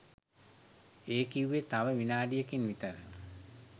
ඒ කිව්වේ තව විනාඩියකින් විතර